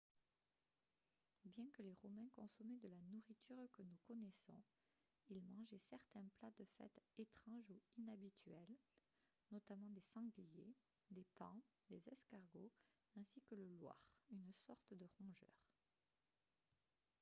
bien que les romains consommaient de la nourriture que nous connaissons ils mangeaient certains plats de fête étranges ou inhabituels notamment des sangliers des paons des escargots ainsi que le loir une sorte de rongeur